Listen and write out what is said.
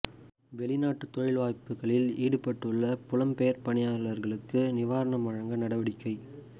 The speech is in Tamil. வெளிநாட்டு தொழில் வாய்ப்புக்களில் ஈடுபட்டுள்ள புலம்பெயர் பணியாளர்களுக்கு நிவாரணம் வழங்க நடவடிக்கை